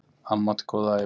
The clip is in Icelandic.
Amma átti góða ævi.